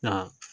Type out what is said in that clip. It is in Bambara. Nka